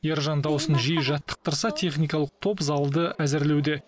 ержан дауысын жиі жаттықтырса техникалық топ залды әзірлеуде